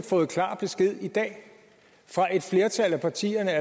fået klar besked fra et flertal af partierne